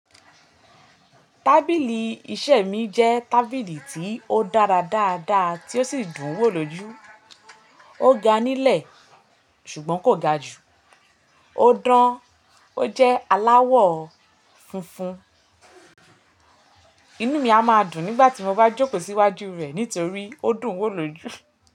Tábìlì iṣẹ́ mi jẹ́ tábìlì tí ó dára dáadáa tí ó sì dùn wò lójú. Ó ga nílẹ̀ ṣùgbọ́n kò ga jù. Ó dán. Ó jẹ́ aláwọ̀ funfun. Inú mi a máa dùn nígbà tí mo bá jókòó síwájú rẹ̀ nítorí ó dùn wò lójú.